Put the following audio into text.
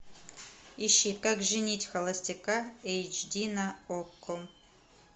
ищи как женить холостяка эйч ди на окко